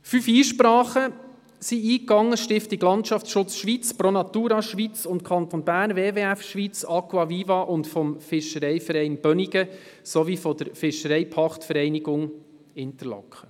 Fünf Einsprachen gingen ein – von der Stiftung Landschaftsschutz Schweiz, Pro Natura Schweiz und Kanton Bern, vom WWF Schweiz und Kanton Bern, von Aqua viva, vom Fischereiverein Bönigen sowie von der Fischereipachtvereinigung Interlaken.